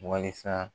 Walasa